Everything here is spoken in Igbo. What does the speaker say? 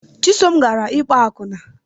Chisom gara ịkpo akwụna